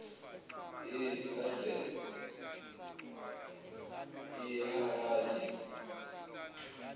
eharade